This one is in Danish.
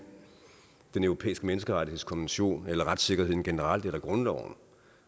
europæiske menneskerettighedskonvention eller retssikkerheden generelt eller grundloven